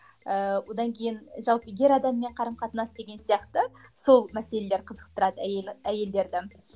ыыы одан кейін жалпы ер адаммен қарым қатынас деген сияқты сол мәселелер қызықтырады әйел әйелдерді